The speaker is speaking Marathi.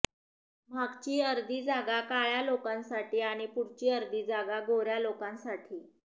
मागची अर्धी जागा काळ्या लोकांसाठी आणि पुढची अर्धी जागा गोऱ्या लोकांसाठी